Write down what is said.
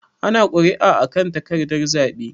Ana kuri'a a kan takardan zaɓe.